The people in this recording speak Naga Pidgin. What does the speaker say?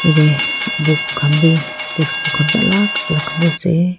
yate book khan bi textbook khan bi alag alag khan bi ase.